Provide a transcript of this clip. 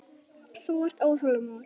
Þú ert óþolinmóður.